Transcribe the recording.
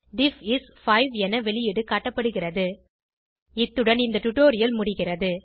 டிஃப் is 5 என வெளியீடு காட்டப்படுகிறது இத்துடன் இந்த டுடோரியல் முடிகிறது